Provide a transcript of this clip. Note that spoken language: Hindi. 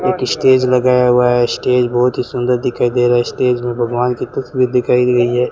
एक स्टेज लगाया हुआ है स्टेज बहोत ही सुंदर दिखाई दे रहा है स्टेज में भगवान की तस्वीर दिखाई गई है।